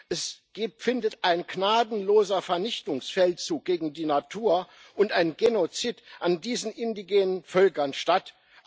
Es findet ein gnadenloser Vernichtungsfeldzug gegen die Natur und ein Genozid an diesen indigenen Völkern statt.